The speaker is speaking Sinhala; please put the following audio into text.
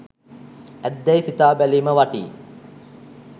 ඇත්දැයි සිතා බැලීම වටී.